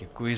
Děkuji.